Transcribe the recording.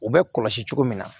U bɛ kɔlɔsi cogo min na